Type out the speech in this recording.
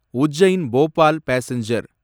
Ujjain Bhopal passenger